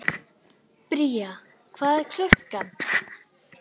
Bría, hvað er klukkan?